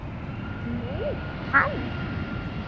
Nú, hann.